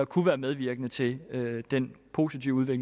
kunne være medvirkende til den positive